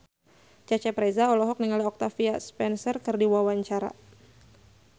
Cecep Reza olohok ningali Octavia Spencer keur diwawancara